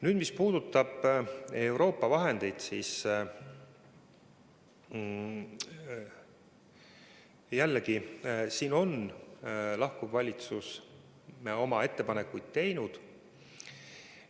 Nüüd, mis puudutab Euroopa vahendeid, siis selle kohta on lahkuv valitsus oma ettepanekud teinud.